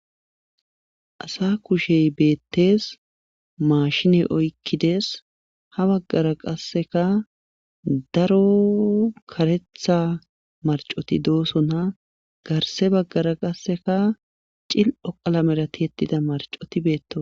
asa kushey beettes maashine oykkides ha baggara qasseka daro karetha marcoti doosona garse baggara qasseka cil7o qalamera tiyettida marcoti beetto